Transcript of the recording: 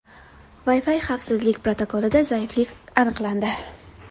Wi-Fi xavfsizlik protokolida zaiflik aniqlandi.